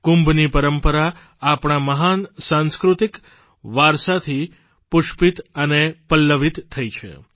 કુંભની પરંપરા આપણા મહાન સાંસ્કૃતિક વારસાથી પુષ્પિત અને પલ્લવિત થઇ છે